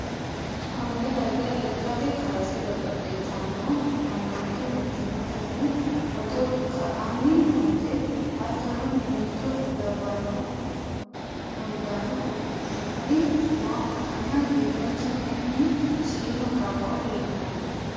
konne darga lekkate kaase godo'litanno mannooti mittimmatenni footo ka''anni noote, hattono, mimmitto labbanno uddano uddi'dhinori nooha ikkanna, giddonsa kayiinni shiima qaaqqo leeltanno.